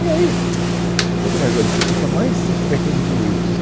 E aí, quanto mais velho você fica, mais você vai tendo direitos.